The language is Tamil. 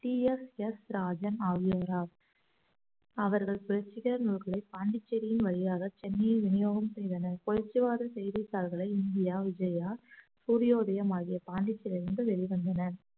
டி எஸ் எஸ் இராஜன் ஆகியோர் அவர்கள் புரட்சிகர நூல்களை பாண்டிச்சேரியின் வழியாக சென்னையை விநியோகம் செய்தனர் புரட்சிவாத செய்தித்தாள்களை இந்தியா விஜயா சூரிய உதயம் ஆகிய பாண்டிச்சேரியில் இருந்து வெளிவந்தன